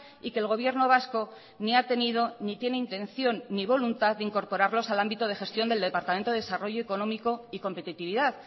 y que el gobierno vasco ni ha tenido ni tiene intención ni voluntad de incorporarlos al ámbito de gestión del departamento de desarrollo económico y competitividad